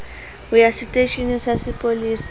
ho ya seteisheneng sa sepolesa